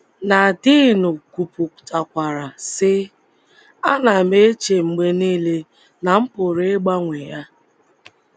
Nadine kwupụtakwara, sị: “ Ana m eche mgbe nile na m pụrụ ịgbanwe ya. ”